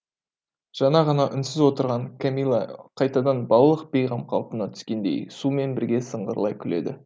жаңа ғана үнсіз отырған кәмилә қайтадан балалық бейғам қалпына түскендей сумен бірге сыңғырлай күледі